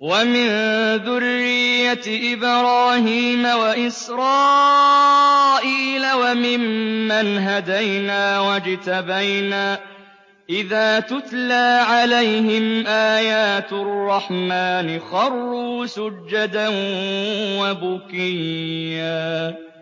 وَمِن ذُرِّيَّةِ إِبْرَاهِيمَ وَإِسْرَائِيلَ وَمِمَّنْ هَدَيْنَا وَاجْتَبَيْنَا ۚ إِذَا تُتْلَىٰ عَلَيْهِمْ آيَاتُ الرَّحْمَٰنِ خَرُّوا سُجَّدًا وَبُكِيًّا ۩